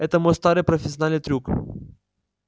это мой старый профессиональный трюк